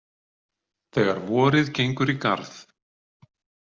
Þegar vorið gengur í garð.